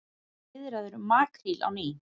Viðræður um makríl á ný